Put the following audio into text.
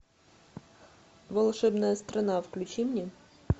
волшебная страна включи мне